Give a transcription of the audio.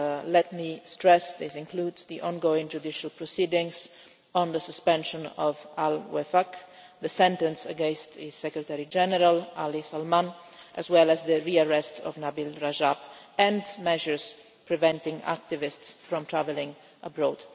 Let me stress that this includes the ongoing judicial proceedings on the suspension of Al Wefaq, the sentence against the Secretary-General, Ali Salman, as well as the re arrest of Nabeel Rajab and measures preventing activists from travelling abroad.